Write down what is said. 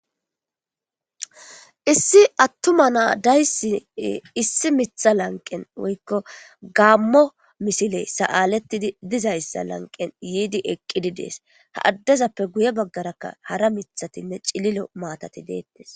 Issi atuma nayiya deyisi issi mitha lanqeni woyiko gamo misileyi saletid dizayisa laniqeni yidi eqidi desi ha adezape guye bagara hara mithatine cililo matati betwsi